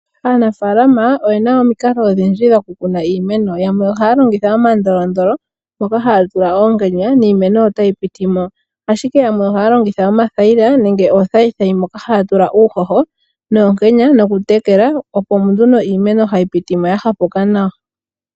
Aanafaalama oye na omikalo odhindji dhokukuna iimeno. Yamwe ohaya longitha omandolondolo ngoka haya tula oonkenya, niimeno otayi piti mo. Ashike yamwe ohaya longitha omathayila nenge oothayithayi moka haya tula uuhoho noonkenya nokutekela, opo nduno iimeno hayi piti mo ya hapuka nawa.